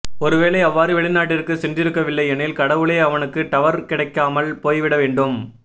ஒருவேளை அவ்வாறு வெளிநாட்டிற்கு சென்றிருக்கவில்லையெனில் கடவுளே அவனுக்கு டவர் கிடைக்காமல் போய்விட வேண்டும்